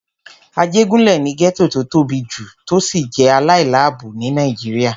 Ajégúnlè ni gẹ́ẹ́tò tó tóbi jù tó sì jẹ́ aláìláàbò ní Nàìjíríyà